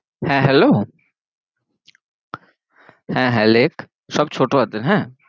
হহ্যাঁ hello হ্যাঁ হ্যাঁ লেখ, সব ছোট হাথের হ্যাঁ